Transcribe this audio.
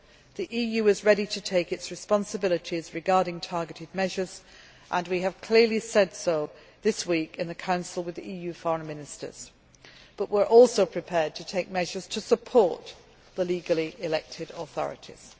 The EU is ready to assume its responsibilities regarding targeted measures, and we have clearly said so this week in the Council with the EU Foreign Ministers, but we are also prepared to take measures to support the legally elected authorities.